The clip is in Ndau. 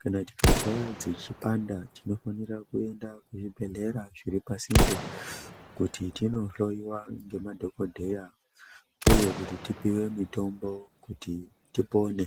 kana tikazwa dzichi panda tinofanira kuenda ku zvibhedhlera zviri pasinde kuti tindo hloyiwa nge madhokodheya uye kuti tipiwe mitombo kuti tipone.